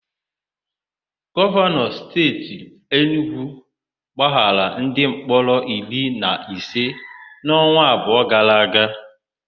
Gọvanọ Steeti Enugwu gbaghara ndimkpọrọ iri na ise n'ọnwa abụọ gara aga.